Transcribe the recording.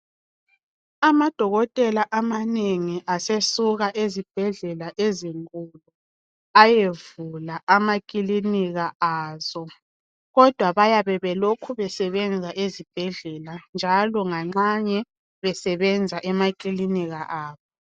Amadokotela amanengi asesuka ezibhedlela ezinkulu ayevula amakilinika azo kodwa bayabe belokhu besebenza esibhedlela njalo nganxanye besenza emakilinika abo.